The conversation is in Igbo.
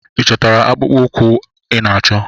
Ị chọtara akpụkpọ ụkwụ ị na-achọ?